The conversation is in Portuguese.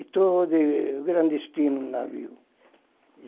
Estou de clandestino no navio.